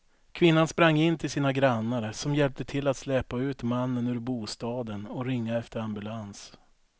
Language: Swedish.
Kvinnan sprang in till sina grannar som hjälpte till att släpa ut mannen ur bostaden och ringa efter ambulans.